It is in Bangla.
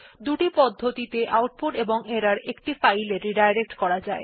দুটি পদ্ধতিতে আউটপুট বা এরর একটি ফাইল এ পুননির্দেশনা করা যায়